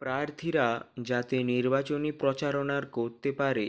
প্রার্থীরা যাতে নির্বাচনি প্রচারণার করতে পারে